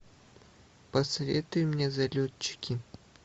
посоветуй мне залетчики